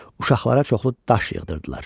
Uşaqlara çoxlu daş yığdırdılar.